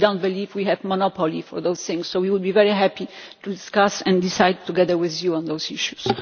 We do not believe we have a monopoly on these things, so we will be very happy to discuss and decide together with you on those issues.